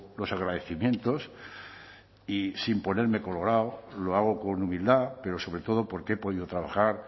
los agradecimientos y sin ponerme colorado lo hago con humildad pero sobre todo porque he podido trabajar